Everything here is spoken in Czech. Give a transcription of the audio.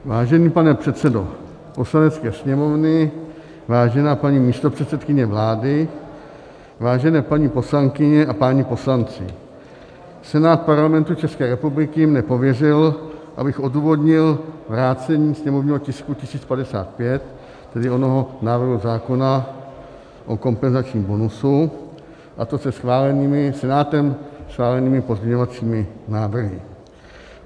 Vážený pane předsedo Poslanecké sněmovny, vážená paní místopředsedkyně vlády, vážené paní poslankyně a páni poslanci, Senát Parlamentu České republiky mne pověřil, abych odůvodnil vrácení sněmovního tisku 1055, tedy onoho návrhu zákona o kompenzačním bonusu, a to se Senátem schválenými pozměňovacími návrhy.